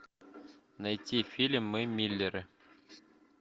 найти фильм мы миллеры